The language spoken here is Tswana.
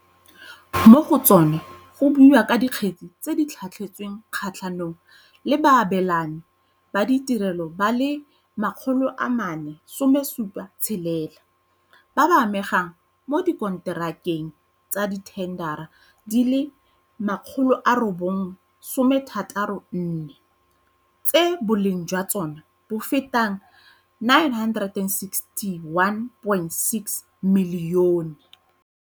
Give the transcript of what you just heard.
Mo go tsona go buiwa ka dikgetse tse di tlhatlhetsweng kgatlhanong le baabelani ba ditirelo ba le 476, ba ba amegang mo dikonterakeng tsa dithendara di le 964, tse boleng jwa tsona bo fetang R961.6 milione.